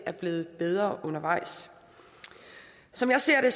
er blevet bedre undervejs som jeg ser det